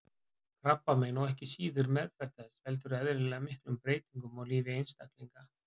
Krabbamein og ekki síður meðferð þess veldur eðlilega miklum breytingum á lífi einstaklings.